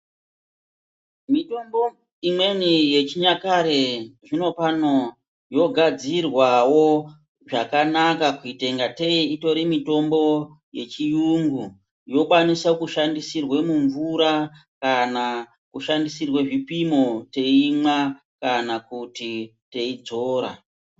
Mitombo imweni yechinyakare zvino pano yogadzirwawo zvakanaka kuite ingatei itori mitombo yechiyungu. Yokwanisa kushandisirwe mumvura kana kushandisirwe zvipimo teimwa kana kuti teidzora.